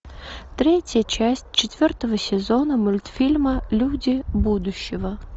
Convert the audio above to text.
третья часть четвертого сезона мультфильма люди будущего